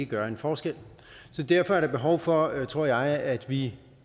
gøre en forskel derfor er der behov for tror jeg at vi